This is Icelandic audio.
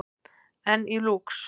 Enn í Lúx